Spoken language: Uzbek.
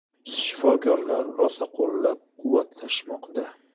Shifokorlar rosa qo‘llab-quvvatlashmoqda.